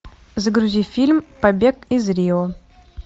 загрузи фильм побег из рио